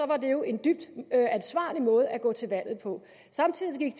var det jo en dybt ansvarlig måde at gå til valg på samtidig